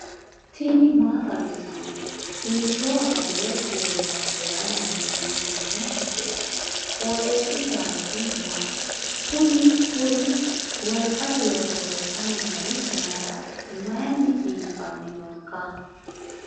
tini maa xawissanno ? hiitto akati woy kuuli noose yaa dandiinanni tenne misilera? qooxeessisera noori maati? kuni kuri wolqate looso loossanni noori mayrati mayinni cxiibbanni nooika